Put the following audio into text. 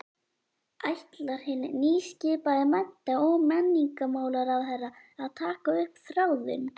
Ætlar hinn nýskipaði mennta- og menningarmálaráðherra að taka upp þráðinn?